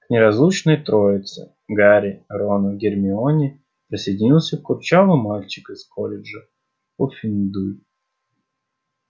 к неразлучной троице гарри рону гермионе присоединился курчавый мальчик из колледжа пуффендуй